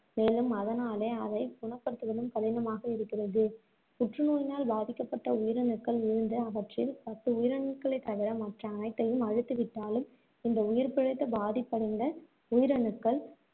மேலும் அதனாலே அதை குணப்படுத்துவதும் கடினமாக இருக்கிறது புற்றுநோயினால் பாதிக்கப்பட்ட உயிரணுக்கள் இருந்து, அவற்றில் பத்து உயிரணுக்களைத்தவிர மற்ற அனைத்தையும் அழித்துவிட்டாலும், இந்த உயிர்பிழைத்த பாதிப்படைந்த உயிரணுக்கள்